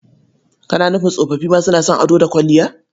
Kana nufin tsofoffi ma suna son ado da kwalliya?